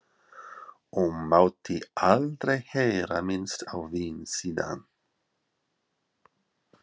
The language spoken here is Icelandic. Og mátti aldrei heyra minnst á vín síðan.